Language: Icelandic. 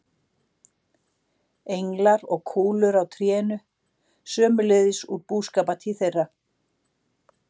Englar og kúlur á trénu, sömuleiðis úr búskapartíð þeirra.